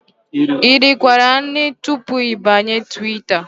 I rikwara nri tupu ịbanye Twitter?